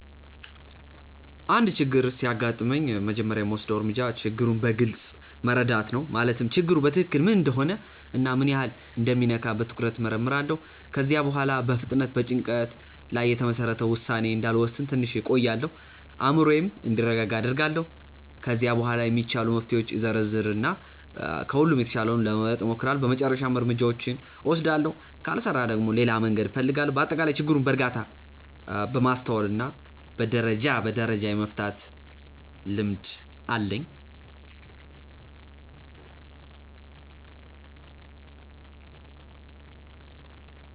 አንድ ችግር ሲያጋጥመኝ መጀመሪያ የምወስደው እርምጃ ችግሩን በግልጽ መረዳት ነው። ማለትም ችግሩ በትክክል ምን እንደሆነ እና ምን ያህል እንደሚነካ በትኩረት እመርምራለሁ። ከዚያ በኋላ በፍጥነት በጭንቀት ላይ የተመሰረተ ውሳኔ እንዳልወስን ትንሽ እቆያለሁ፤ አእምሮዬም እንዲረጋጋ አደርጋለሁ። ከዚያ በኋላ የሚቻሉ መፍትሄዎችን እዘረዝር እና ከሁሉም የተሻለውን ለመምረጥ እሞክራለሁ በመጨረሻም እርምጃውን እወስዳለሁ። ካልሰራ ደግሞ ሌላ መንገድ እፈልጋለሁ። በአጠቃላይ ችግርን በእርጋታ፣ በማስተዋል እና ደረጃ በደረጃ የመፍታት ልምድ አለኝ።